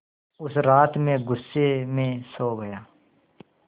उस रात मैं ग़ुस्से में सो गया